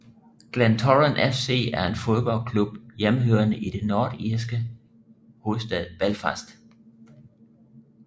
Glentoran FC er en fodboldklub hjemmehørende i den nordirske hovedstad Belfast